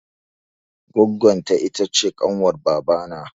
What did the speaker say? Goggon ta ita ce kanwar baba na